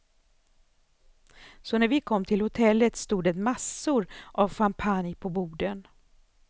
Så när vi kom till hotellet stod det massor av champagne på borden.